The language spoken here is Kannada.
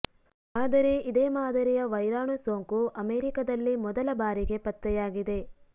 ಆದರೆ ಇದೇ ಮಾದರಿಯ ವೈರಾಣು ಸೋಂಕು ಅಮೆರಿಕದಲ್ಲಿ ಮೊದಲ ಬಾರಿಗೆ ಪತ್ತೆಯಾಗಿದೆ